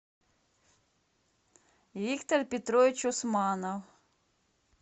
виктор петрович усманов